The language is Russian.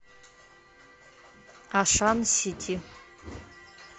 ашан сити